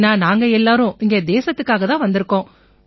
ஏன்னா நாங்க எல்லாரும் இங்க தேசத்துக்காகத் தான் வந்திருக்கோம்